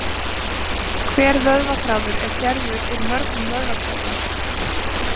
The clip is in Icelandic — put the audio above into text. Hver vöðvaþráður er gerður úr mörgum vöðvatrefjum.